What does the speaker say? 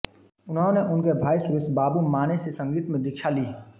उन्होंने उनके भाई सुरेशबाबू माने से संगीत में दीक्षा ली